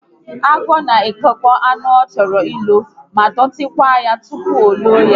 Agwọ na ekekọ anụ ọ chọrọ ilo ma dọtí kwaa ya tupu o loo ya